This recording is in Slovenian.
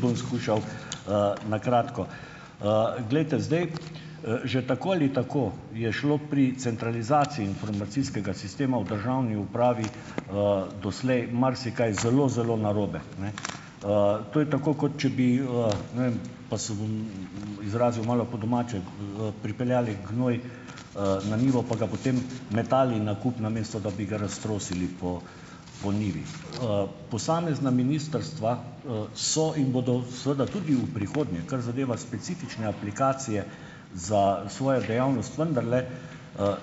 Bom skušal, na kratko. Glejte, zdaj - že tako ali tako je šlo pri centralizaciji informacijskega sistema v državni upravi, doslej marsikaj zelo, zelo narobe. Ne? To je tako, kot če bi, ne vem - pa se bom izrazil malo po domače - pripeljali gnoj, na njivo pa ga potem metali na kup, namesto da bi ga raztrosili po po njivi. Posamezna ministrstva, so in bodo seveda tudi v prihodnje, kar zadeva specifične aplikacije, za svojo dejavnost vendarle,